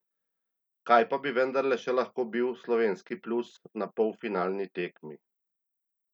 Kaj pa bi vendarle še lahko bil slovenski plus na polfinalni tekmi?